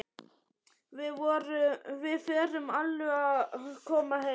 Við förum alveg að koma heim.